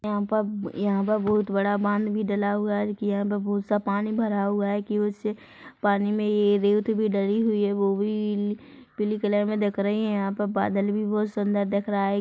यहाँ पर यहाँ पर बहुत बड़ा बांध भी डला हुआ है जो की बहुत सा पानी भरा हुआ है की उस पानी में ये रेत से भी डली हुई हैं वो भी पीली कलर में देख रही है यहाँ पे बादल भी बहुत सुन्दर देख रहा है।